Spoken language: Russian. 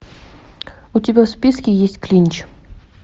у тебя в списке есть клинч